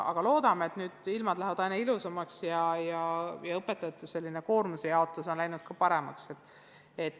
Aga loodame, et ilmad lähevad aina ilusamaks, ja ka õpetajate koormuse jaotus on läinud paremaks.